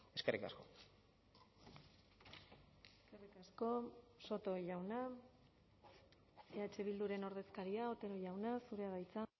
eskerrik asko eskerrik asko soto jauna eh bilduren ordezkaria otero jauna zurea da hitza